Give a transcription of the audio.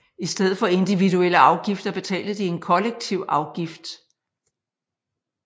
I stedet for individuelle afgifter betalte de en kollektiv afgift